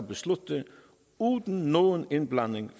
beslutningen uden nogen indblanding